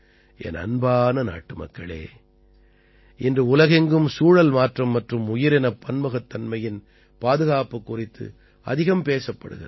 என் அன்பான நாட்டுமக்களே இன்று உலகெங்கும் சூழல் மாற்றம் மற்றும் உயிரினப் பன்முகத்தன்மையின் பாதுகாப்பு குறித்து அதிகம் பேசப்படுகிறது